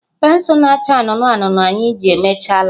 Pensụl na-acha anụnụ anụnụ anyị ji emechaala.